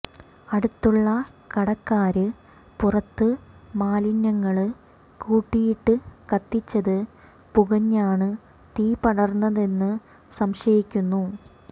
അടുത്തുള്ള കടക്കാര് പുറത്ത് മാലിന്യങ്ങള് കൂട്ടിയിട്ട് കത്തിച്ചത് പുകഞ്ഞാണ് തീ പടര്ന്നതെന്ന് സംശയിക്കുന്നു